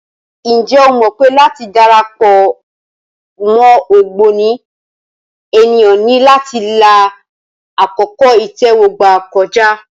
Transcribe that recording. Ǹjẹ́ o mọ̀ pé láti dara pọ̀ mọ́ ògbóni, ènìyàn ní láti la àkókò ìtẹ́wọ́gbà kọjá.